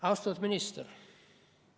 Austatud minister!